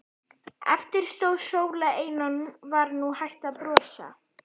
Eftir stóð Sóla ein og var nú hætt að brosa.